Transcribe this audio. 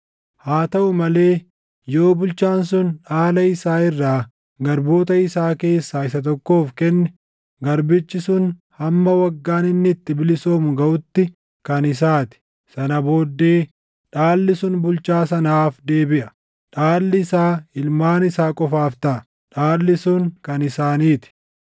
Haa taʼu malee yoo bulchaan sun dhaala isaa irraa garboota isaa keessaa isa tokkoof kenne garbichi sun hamma waggaan inni itti bilisoomu gaʼutti kan isaa ti; sana booddee dhaalli sun bulchaa sanaaf deebiʼa. Dhaalli isaa ilmaan isaa qofaaf taʼa; dhaalli sun kan isaanii ti.